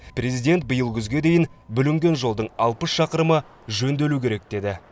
президент биыл күзге дейін бүлінген жолдың алпыс шақырымы жөнделуі керек деді